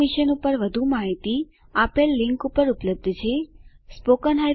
આ મિશન પર વધુ માહીતી આપેલ લીંક પર ઉપલબ્ધ છે · httpspoken tutorialorgNMEICT Intro